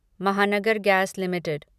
Mahanagar gas limited